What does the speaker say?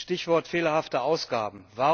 Stichwort fehlerhafte Ausgaben.